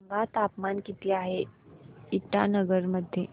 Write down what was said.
सांगा तापमान किती आहे इटानगर मध्ये